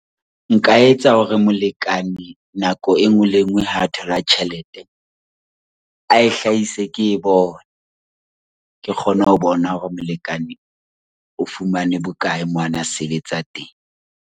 Bua ka bolokolohi le molekane wa hao ka tjhelete - Balekane ba na le mokgwa wa ho patelana dintlha tsa ditjhelete.